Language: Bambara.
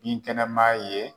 Binkɛnɛma ye